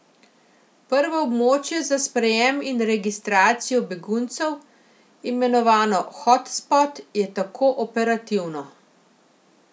Prvo območje za sprejem in registracijo beguncev, imenovano hotspot, je tako operativno.